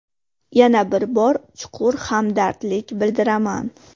Yana bir bor chuqur hamdardlik bildiraman.